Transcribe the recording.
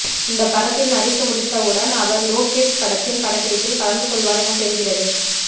இந்த படத்தில் நடித்து முடித்தவுடன் அவர் லோகேஷ் படத்தின் படப்பிடிப்பில் கலந்து கொள்வார் எனத் தெரிகிறது